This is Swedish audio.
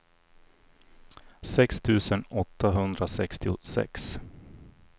sex tusen åttahundrasextiosex